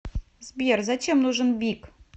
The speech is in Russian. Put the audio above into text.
сбер зачем нужен бик